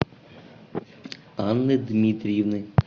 анны дмитриевны